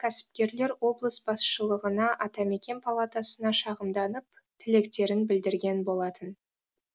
кәсіпкерлер облыс басшылығына атамекен палатасына шағымданып тілектерін білдірген болатын